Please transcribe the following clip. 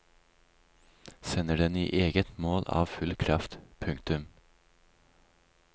Sender den i eget mål av full kraft. punktum